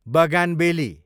bougainvillea